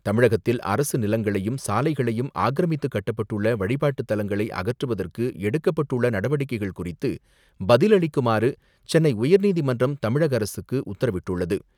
தமிழகத்தில் அரசு நிலங்களையும், சாலைகளையும் ஆக்கிரமித்து கட்டப்பட்டுள்ள வழிபாட்டுத்தலங்களை அகற்றுவதற்கு எடுக்கப்பட்டுள்ள நடவடிக்கைகள் குறித்து பதிலளிக்குமாறு சென்னை உயர்நீதிமன்றம் தமிழக அரசுக்கு உத்தரவிட்டுள்ளது.